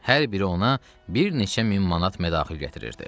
Hər biri ona bir neçə min manat mədaxil gətirirdi.